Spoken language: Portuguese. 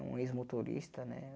Um ex-motorista, né?